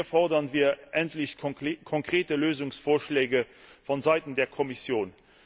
Hier fordern wir endlich konkrete Lösungsvorschläge vonseiten der Kommission.